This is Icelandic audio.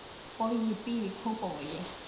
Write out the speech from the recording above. Bogi býr í Kópavogi.